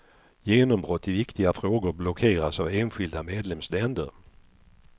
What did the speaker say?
Genombrott i viktiga frågor blockeras av enskilda medlemsländer.